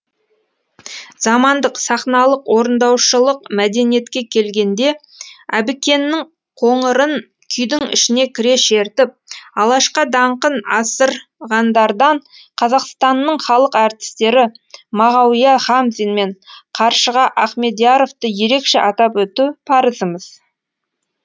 замандық сахналық орындаушылық мәдениетке келгенде әбікеннің қоңырын күйдің ішіне кіре шертіп алашқа даңқын асырғандардан қазақстанның халық әртістері мағауия хамзин мен қаршыға ахмедияровты ерекше атап өту парызымыз